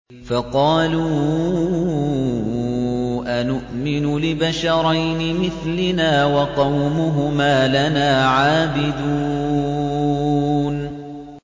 فَقَالُوا أَنُؤْمِنُ لِبَشَرَيْنِ مِثْلِنَا وَقَوْمُهُمَا لَنَا عَابِدُونَ